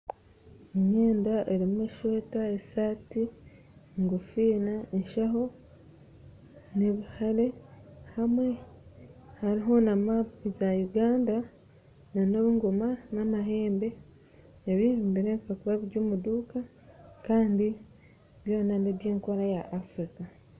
Emyenda erimu esweta, eshati, enkofiira, enshaho na ebihare, hariho na mapu za Uganda na engoma na amahembe ebi nibirebeka kuba biri omuduuka kandi byona nebya enkora eya Afirika.